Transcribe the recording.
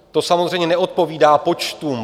To samozřejmě neodpovídá počtům.